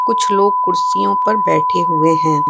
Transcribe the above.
कुछ लोग कुर्सियों पर बैठे हुए हैं।